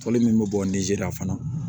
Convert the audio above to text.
Tɔli min bɛ bɔ nizeriya fana